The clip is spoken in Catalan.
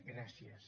gràcies